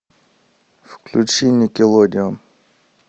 включи никелодеон